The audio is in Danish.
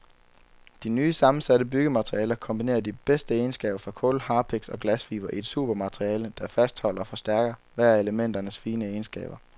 De nye sammensatte byggematerialer kombinerer de bedste egenskaber fra kul, harpiks og glasfibre i et supermateriale, der fastholder og forstærker hver af elementernes fine egenskaber.